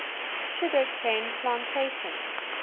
sugar cane plantations